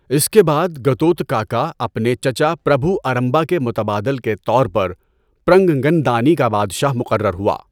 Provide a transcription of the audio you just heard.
اس کے بعد، گتوتکاکا، اپنے چچا پربھو ارمبا کے متبادل کے طور پر، پرنگگندانی کا بادشاہ مقرر ہوا۔